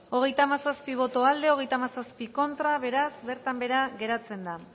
hogeita hamazazpi boto aldekoa treinta y siete contra beraz bertan behera geratzen da